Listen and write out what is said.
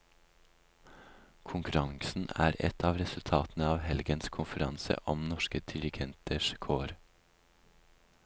Konkurransen er et av resultatene av helgens konferanse om norske dirigenters kår.